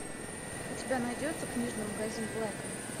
у тебя найдется книжный магазин блэка